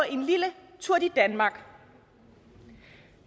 en lille tour de danmark